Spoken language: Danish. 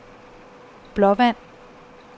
Blåvand